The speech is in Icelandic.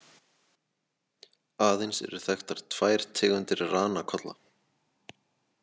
Aðeins eru þekktar tvær tegundir ranakolla.